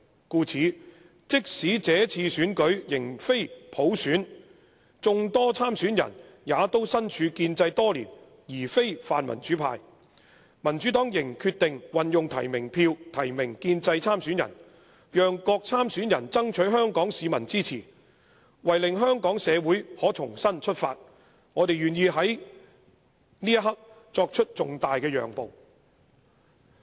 故此，即使這次選舉仍非普選，眾多參選人也都身處建制多年而非泛民主派，民主黨仍決定運用提名票提名建制參選人，讓各參選人爭取香港市民支持；為令香港社會可重新出發，我們願意在這刻作出這重大的讓步。